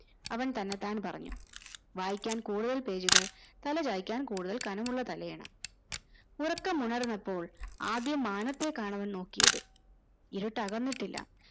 അവൻ തന്നെത്താനെ പറഞ്ഞു വായിക്കാൻ കൂടുതൽ പേജുകൾ തലചായ്ക്കാൻ കൂടുതൽ കനമുള്ള തലയിണ ഉറക്കമുണർന്നപ്പോൾ ആദ്യം മാനത്തേക്കാണ് അവൻ നോക്കിയത് ഇരുട്ടകന്നിട്ടില്ല